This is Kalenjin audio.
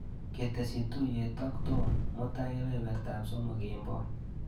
Ketesyi tuiyet ak Tom mutai kebebertap somok kemboi.